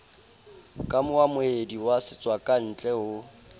ka moamohedi wa setswakantle ho